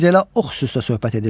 biz elə o xüsusda söhbət edirdik.